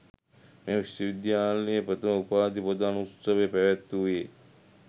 මෙම විශ්වවිද්‍යාලයේ ප්‍රථම උපාධි ප්‍රදානෝත්සවය පැවැත්වූයේ